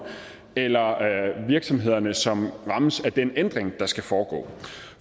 eller virksomhederne som rammes af den ændring der skal foregå